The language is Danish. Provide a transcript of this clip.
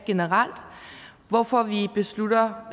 generelt hvorfor vi beslutter